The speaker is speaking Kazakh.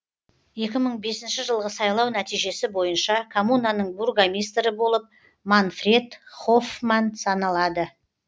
екі мың бесінші жылғы сайлау нәтижесі бойынша коммунаның бургомистрі болып манфред хоффман саналады